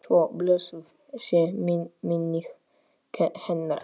Svo blessuð sé minning hennar.